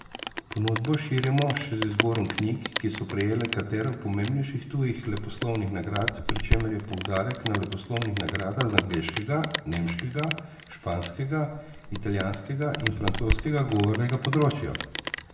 Ponudbo širimo še z izborom knjig, ki so prejele katero pomembnejših tujih leposlovnih nagrad, pri čemer je poudarek na leposlovnih nagradah z angleškega, nemškega, španskega, italijanskega in francoskega govornega področja.